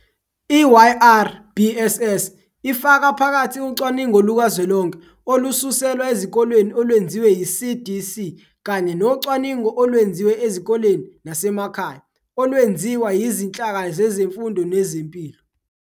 I-YRBSS ifaka phakathi ucwaningo lukazwelonke olususelwa ezikoleni olwenziwe yiCDC kanye nocwaningo olwenziwe ezikoleni nasemakhaya olwenziwa yizinhlaka zezemfundo nezempilo.